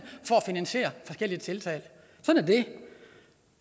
for at finansiere forskellige tiltag